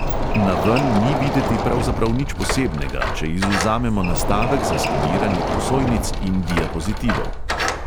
Naven ni videti pravzaprav nič posebnega, če izvzamemo nastavek za skeniranje prosojnic in diapozitivov.